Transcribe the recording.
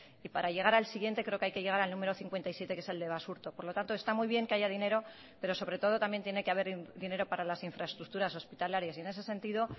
y para llegar al siguiente creo que hay que llegar al número cincuenta y siete que es el de basurto por lo tanto está muy bien que haya dinero pero sobre todo también tiene que haber dinero para las infraestructuras hospitalarias y en ese sentido